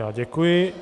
Já děkuji.